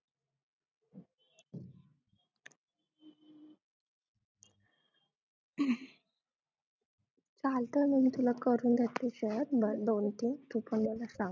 चालतय मग मी तुला करून देते share दोन तीन तू पण मला सांग